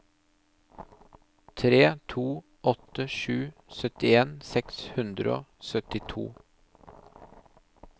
tre to åtte sju syttien seks hundre og syttito